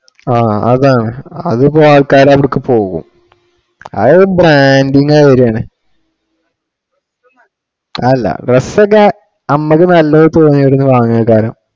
ആഹ് അതാണ് അതിപ്പോ ആൾക്കാര് അവിടേക്കു പോകും. അതൊരു branding ആയി വരികയാണ്. അതല്ല dress ഒക്കെ നമക്ക് നല്ലതു പോയി അവിടുന്ന് വാങ്ങുക എന്തായാലും.